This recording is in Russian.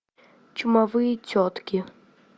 чумовые тетки